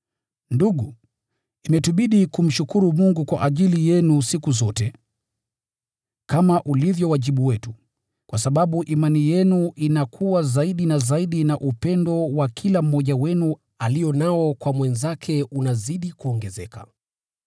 Ndugu, imetubidi kumshukuru Mungu kwa ajili yenu siku zote, kama ulivyo wajibu wetu, kwa sababu imani yenu inakua zaidi na zaidi na upendo wa kila mmoja wenu alio nao kwa mwenzake unazidi kuongezeka.